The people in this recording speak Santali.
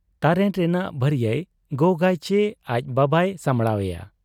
ᱛᱟᱨᱮᱱ ᱨᱮᱱᱟᱜ ᱵᱷᱟᱹᱨᱤᱭᱟᱹᱭ ᱜᱚᱜᱟᱪᱤ ᱟᱡ ᱵᱟᱵᱟᱭ ᱥᱟᱢᱵᱷᱲᱟᱣ ᱮᱭᱟ ?